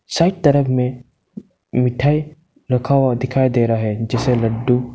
Side तरफ में मिठाई रखा हुआ दिखाई दे रहा है जैसे लड्डू।